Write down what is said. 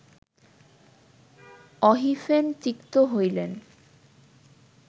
অহিফেন তিক্ত হইলে